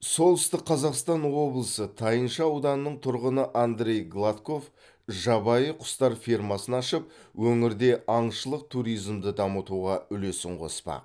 солтүстік қазақстан облысы тайынша ауданының тұрғыны андрей гладков жабайы құстар фермасын ашып өңірде аңшылық туризмді дамытуға үлесін қоспақ